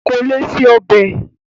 Kò lè se ọbẹ̀